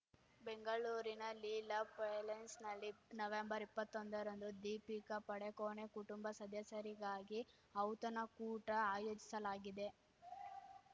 ಬೆಂಗಳೂರಿನ ಲೀಲಾ ಪ್ಯಾಲೇಸ್‌ನಲ್ಲಿ ನವೆಂಬರ್ಇಪ್ಪತ್ತೊಂದರಂದು ದೀಪಿಕಾ ಪಡುಕೋಣೆ ಕುಟುಂಬ ಸದಸ್ಯರಿಗಾಗಿ ಔತಣ ಕೂಟ ಆಯೋಜಿಸಲಾಗಿದೆ